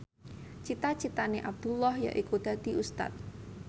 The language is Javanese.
cita citane Abdullah yaiku dadi Ustad